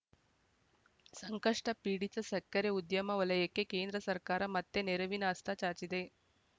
ಸಂಕಷ್ಟಪೀಡಿತ ಸಕ್ಕರೆ ಉದ್ಯಮ ವಲಯಕ್ಕೆ ಕೇಂದ್ರ ಸರ್ಕಾರ ಮತ್ತೆ ನೆರವಿನ ಹಸ್ತ ಚಾಚಿದೆ